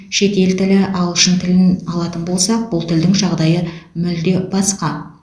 шетел тілі ағылшын тілін алатын болсақ бұл тілдің жағдайы мүлде басқа